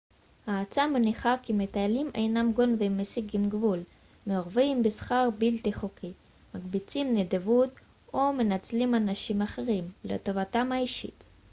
העצה מניחה כי מטיילים אינם גונבים מסיגים גבול מעורבים בסחר בלתי חוקי מקבצים נדבות או מנצלים אנשים אחרים לטובתם האישית